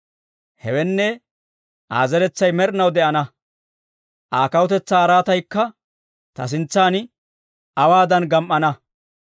Hewenne, Aa zeretsay med'inaw de'ana; Aa kawutetsaa araataykka ta sintsan awaadan gam"ana.